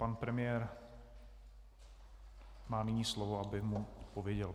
Pan premiér má nyní slovo, aby mu odpověděl.